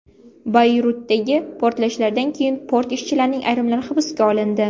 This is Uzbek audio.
Bayrutdagi portlashlardan keyin port ishchilarining ayrimlari hibsga olindi.